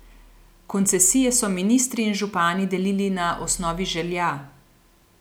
Koncesije so ministri in župani delili na osnovi želja.